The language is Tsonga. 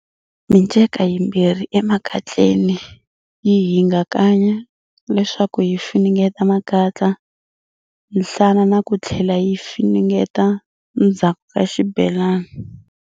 Minceka yimbirhi emakatleni yi hingakanya, leswaku yi funengeta makatla, nhlana na kuthlela yi funengeta ndzhaku ka xibelani.